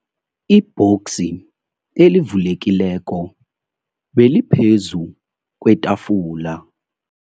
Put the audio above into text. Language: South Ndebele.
Ibhoksi elivulekileko beliphezu kwetafula.